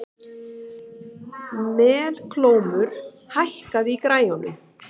Melkólmur, hækkaðu í græjunum.